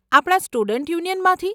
આપણા સ્ટુડન્ટ યુનિયનમાંથી?